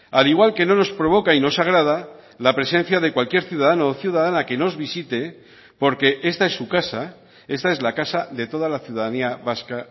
al igual que no nos provoca y nos agrada la presencia de cualquier ciudadano o ciudadana que nos visite porque esta es su casa esta es la casa de toda la ciudadanía vasca